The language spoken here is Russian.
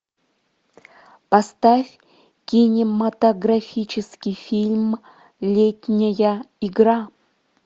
поставь кинематографический фильм летняя игра